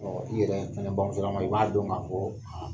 i yɛrɛ fɛnɛ bamuso lama i b'a dɔn k'a fɔ